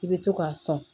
I bɛ to k'a sɔn